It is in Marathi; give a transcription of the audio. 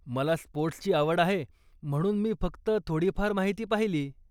मला स्पोर्टस् ची आवड आहे म्हणून मी फक्त थोडीफार माहिती पाहिली.